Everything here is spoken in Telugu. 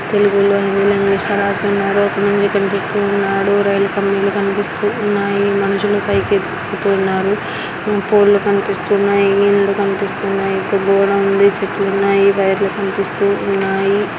తెలుగులో హిందీలో ఇంగ్లీషు లో రాసి ఉన్నారు. కనిపిస్తున్నాడు రైలు కనిపిస్తున్నాయి. మనుషులు పైకి ఎక్కుతూ ఉన్నారు. పోల్ లు కనిపిస్తున్నాయి ఇల్లు కనిపిస్తున్నాయి పెద్దగానే ఉంది. చెట్లు ఉన్నాయి వైర్లు కనిపిస్తున్నాయి.